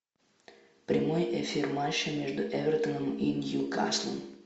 прямой эфир матча между эвертоном и ньюкаслом